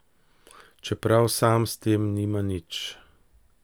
Čeprav sam s tem nima nič.